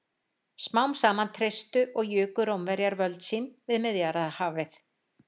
Smám saman treystu og juku Rómverjar völd sín við Miðjarðarhafið.